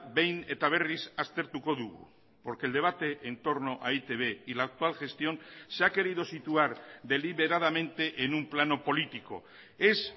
behin eta berriz aztertuko dugu porque el debate en torno a e i te be y la actual gestión se ha querido situar deliberadamente en un plano político es